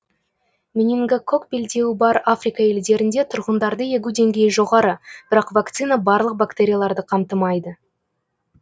менингококк белдеуі бар африка елдерінде тұрғындарды егу деңгейі жоғары бірақ вакцина барлық бактерияларды қамтымайды